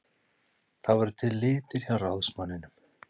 Það voru til litir hjá ráðsmanninum.